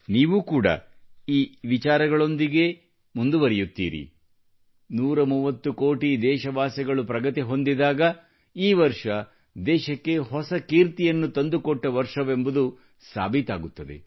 ನೀವೂ ಕೂಡ ಈ ವಿಚಾರಗಳೊಂದಿಗೆ ಮುಂದುವರೆಯುತ್ತೀರಿ 130 ಕೋಟಿ ದೇಶವಾಸಿಗಳು ಪ್ರಗತಿ ಹೊಂದಿದಾಗ ಈ ವರ್ಷ ದೇಶಕ್ಕೆ ಹೊಸ ಕೀರ್ತಿಯನ್ನು ತಂದುಕೊಟ್ಟ ವರ್ಷವೆಂಬುದು ಸಾಬೀತಾಗುತ್ತದೆ